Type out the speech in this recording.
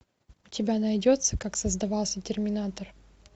у тебя найдется как создавался терминатор